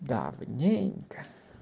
давненько